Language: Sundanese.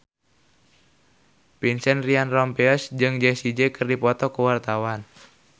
Vincent Ryan Rompies jeung Jessie J keur dipoto ku wartawan